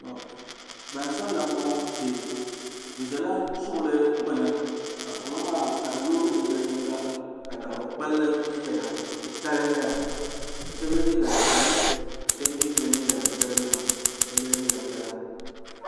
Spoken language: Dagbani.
Gbansabila m-bɔŋɔ kpe bɛ ʒela suɣili gbuni ka suɣili maa ka di yoogi di yaɣiyiŋga ka daɣu kpalli n-ʒeya suɣ'titali n-nyɛ li ka shɛba ye liiga ʒɛhi ka shɛba mi ye liiga chicharanima ka shɛba ye liiga piɛla.